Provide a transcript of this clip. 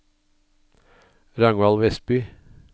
Ragnvald Westby